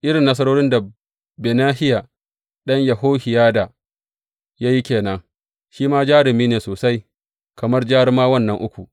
Irin nasarorin da Benahiya ɗan Yehohiyada ya yi ke nan; shi ma jarumi ne sosai kamar jarumawan nan uku.